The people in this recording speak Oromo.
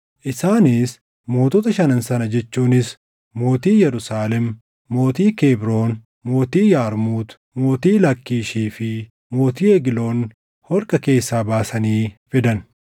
Isaanis mootota shanan sana jechuunis mootii Yerusaalem, mootii Kebroon, mootii Yarmuut, mootii Laakkiishii fi mootii Egloon holqa keessaa baasanii fidan.